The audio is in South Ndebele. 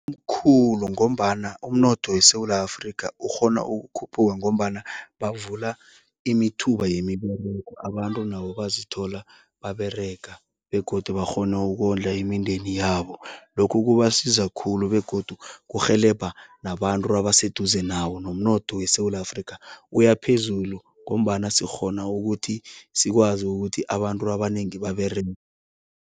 Omkhulu ngombana umnotho weSewula Afrika ukghona ukuphuka ngombana bavula imithuba yemiberego, abantu nabo bazithola baberega begodu bakghone ukondla imindeni yabo. Lokhu kubasiza khulu begodu kurhelebha nabantu abaseduze nawo, nomnotho weSewula Afrika uyaphezulu ngombana sikghona ukuthi sikwazi ukuthi abantu abanengi baberege.